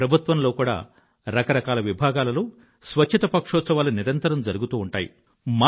ప్రభుత్వంలో కూడా రకరకాల విభాగాలలో స్వచ్ఛత పక్షోత్సవాలు నిరంతరం జరుగుతూ ఉంటాయి